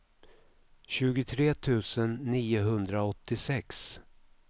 tjugotre tusen niohundraåttiosex